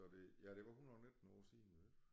Så det ja det var 119 år siden det